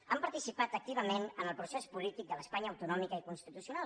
han participat activament en el procés polític de l’espanya autonòmica i constitucional